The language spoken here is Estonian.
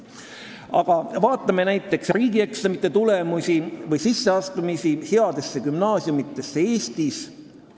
Aga vaatame näiteks riigieksamite tulemusi või headesse gümnaasiumidesse sisseastumise statistikat Eestis.